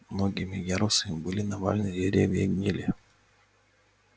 многими ярусами были навалены деревья и гнили